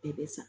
Bɛɛ bɛ sa